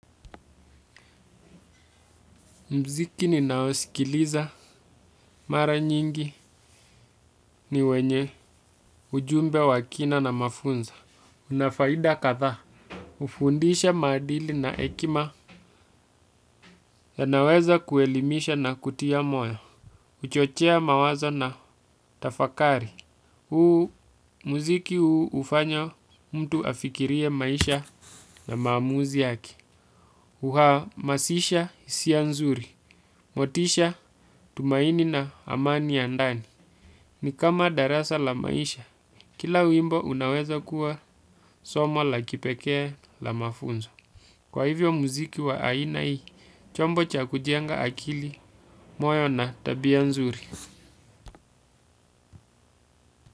Muziki ninaosikiliza. Mara nyingi ni wenye ujumbe wakina na mafunza. Unafaida katha. Ufundisha madili na ekima. Yanaweza kuelimisha na kutia moyo. Kuchochea mawazo na tafakari. Huu muziki huu hufanya mtu afikirie maisha na maamuzi yake. Huhamasisha hisia nzuri. Motisha tumaini na amani ya ndani. Ni kama darasa la maisha, kila wimbo unaweza kuwa somo la kipekee la mafunzo. Kwa hivyo muziki wa aina hii, chombo cha kujenga akili, moyo na tabia nzuri.